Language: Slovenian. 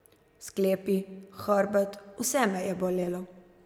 Sklepi, hrbet, vse me je bolelo.